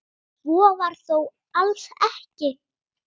Svo var þó alls ekki.